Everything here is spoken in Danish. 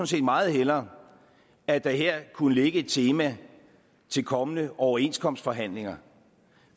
set meget hellere at der her kunne ligge et tema til kommende overenskomstforhandlinger